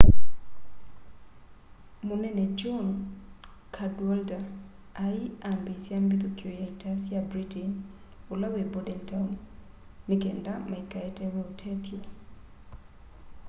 munene john cadwalder ai ambiisya mbithũkio ya ita sya britain ula wi bordentown ni kenda maikaetewe ũtethyo